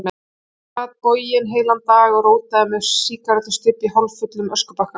Hann sat boginn heilan dag, og rótaði með sígarettustubb í hálffullum öskubakka.